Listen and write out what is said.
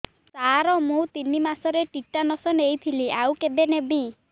ସାର ମୁ ତିନି ମାସରେ ଟିଟାନସ ନେଇଥିଲି ଆଉ କେବେ ନେବି